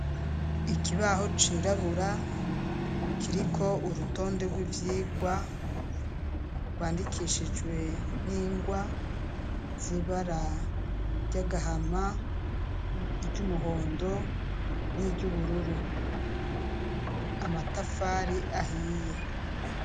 Ikibaho cirabura kiriko urutonde rw'ivyigwa rwandikishijwe n'ingwa zibara ryagahama iry'umuhondo n'iryo ubururu amatafari ahiye.